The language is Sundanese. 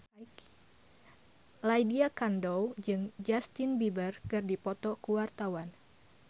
Lydia Kandou jeung Justin Beiber keur dipoto ku wartawan